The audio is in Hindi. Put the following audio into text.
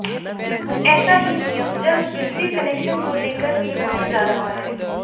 कुछ ऐसा ही नियम जल्द बिजली कनेक्शन को लेकर भी होने जा रहा है